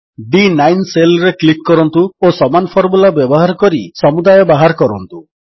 D9 cell ରେ click କରନ୍ତୁ ଓ ସମାନ ଫର୍ମୁଲା ବ୍ୟବହାର କରି ସମୁଦାୟ ବାହାର କରନ୍ତୁ